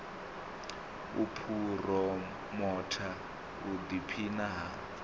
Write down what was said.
u phuromotha u ḓiphina ha